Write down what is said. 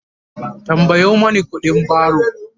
tambayo Mani ƙuɗin baro!